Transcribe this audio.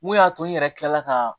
Mun y'a to n yɛrɛ kilala ka